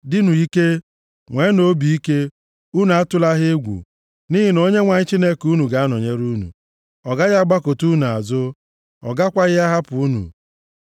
Dịnụ ike! Nweenụ obi ike! Unu atụla ha egwu! Nʼihi na Onyenwe anyị Chineke unu ga-anọnyere unu. Ọ gaghị agbakụta unu azụ, ọ gakwaghị ahapụ unu.”